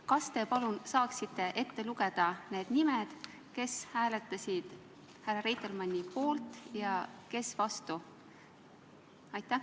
Kas te palun saaksite ette lugeda nimed, kes hääletasid Reitelmanni poolt ja kes vastu?